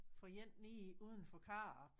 For en nede udenfor Karup